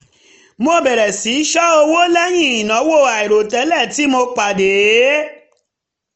mo bẹ̀rẹ̀ sí í ṣọ́ owó lẹ́yìn ìnáwó àìròtẹ́lẹ̀ tí mo pàdé